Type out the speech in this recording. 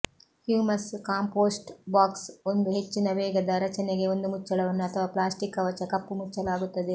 humus compost box ಒಂದು ಹೆಚ್ಚಿನ ವೇಗದ ರಚನೆಗೆ ಒಂದು ಮುಚ್ಚಳವನ್ನು ಅಥವಾ ಪ್ಲ್ಯಾಸ್ಟಿಕ್ ಕವಚ ಕಪ್ಪು ಮುಚ್ಚಲಾಗುತ್ತದೆ